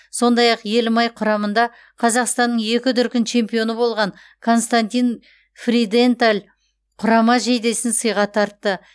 сондай ақ елімай құрамында қазақстанның екі дүркін чемпионы болған константин фриденталь құрама жейдесін сыйға тартты